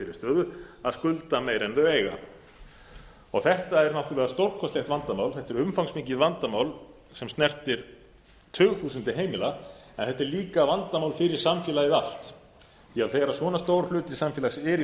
þeirri stöðu að skulda meira en þau eiga þetta er náttúrlega stórkostlegt vandamál þetta er umfangsmikið vandamál sem snertir tugþúsundir heimila en þetta er líka vandamál fyrir samfélagið allt því að þegar svona stór hluti samfélags er